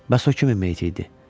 Bəs o kimin meiti idi?